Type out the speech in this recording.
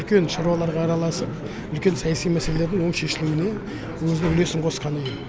үлкен шаруаларға араласып үлкен саяси мәселелердің оң шешілуіне өзінің үлесін қосқан ұйым